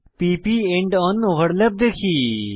p প end on overlap দেখি